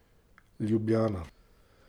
Ljubljana.